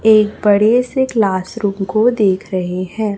एक बड़े से क्लास रूम को देख रहे हैं।